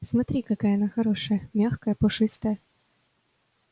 смотри какая она хорошая мягкая пушистая